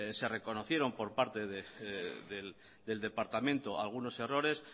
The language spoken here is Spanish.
se reconocieron por parte del departamento algunos errores